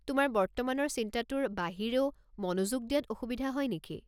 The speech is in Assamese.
তোমাৰ বৰ্তমানৰ চিন্তাটোৰ বাহিৰেও মনোযোগ দিয়াত অসুবিধা হয় নেকি?